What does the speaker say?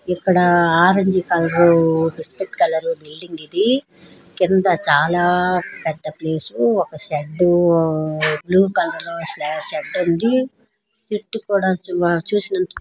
ఇక్కడ orange colour biscuit colour building ఇది. కింద చాలా పెద్ద ప్లేస్. ఒకషెడ్ బ్లూ కలర్ షెడ్ ఉంది. చుట్టు కూడా చూసినట్లయితే--